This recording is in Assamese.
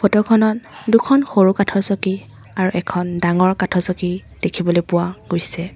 ফটো খনত দুখন সৰু কাঠৰ চকী আৰু এখন ডাঙৰ কাঠৰ চকী দেখিবলৈ পোৱা গৈছে।